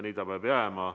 Nii see peab ka jääma.